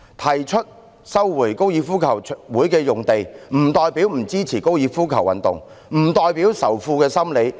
提出收回高爾夫球場用地，不代表不支持這種運動，不代表仇富心理。